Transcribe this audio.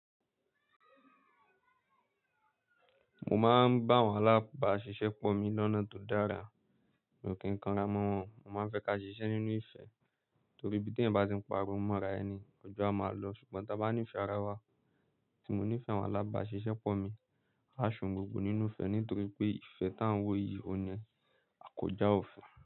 Mo máa ń bá àwọn alábàáṣiṣẹ́ pọ̀ mi lọ́nà tó dára. Kìkanra mọ́ wọn, mo máa ń fẹ́ ka ṣiṣẹ́ nínú ìfẹ́ torí bí tí ẹ̀yin bá ti ń pariwo mọ́ra ẹni, ọjọ́ a máa lọ. Ṣùgbọ́n tí a bá ní ìfẹ́ ara wa, tí mo ní ìfẹ́ àwọn alábàáṣiṣẹ́ pọ̀ mi, a ṣohùn gbogbo nínú ìfẹ́ nítorí pé ìfẹ́ tá ń wò yìí ò ní àkójá òfin.